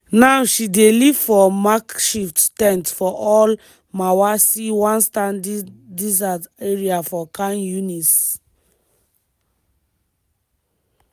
now she dey live for makeshift ten t for al-mawasi one sandy desert area for khan younis.